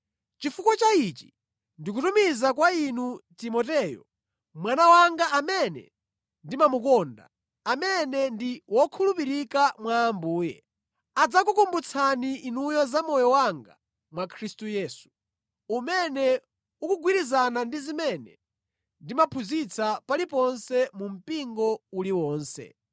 Chifukwa cha ichi ndikutumiza kwa inu Timoteyo, mwana wanga amene ndimamukonda, amene ndi wokhulupirika mwa Ambuye. Adzakukumbutsani inuyo za moyo wanga mwa Khristu Yesu, umene ukugwirizana ndi zimene ndimaphunzitsa paliponse mu mpingo uliwonse.